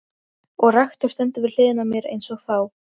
Unnur, hvað er í dagatalinu mínu í dag?